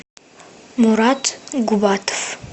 мурат губатов